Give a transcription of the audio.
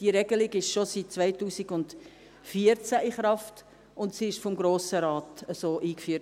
Diese Regelung ist schon seit 2014 in Kraft, sie wurde vom Grossen Rat eingeführt.